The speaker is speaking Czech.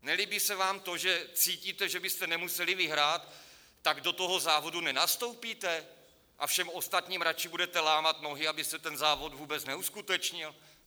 Nelíbí se vám to, že cítíte, že byste nemuseli vyhrát, tak do toho závodu nenastoupíte a všem ostatním raději budete lámat nohy, aby se ten závod vůbec neuskutečnil?